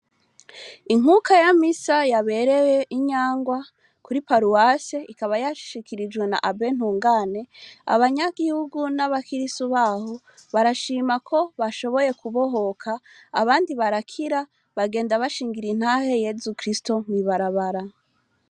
Inkuka ya misa yabereye i Nyangwa kuri paruwase ikaba yashikirijwe na abe Ntungane abanyagihugu n'abakirisu baho barashima ko bashoboye kubohoka abandi barakira bagenda bashingira intahe Yezu Kristu mw'ibarabara.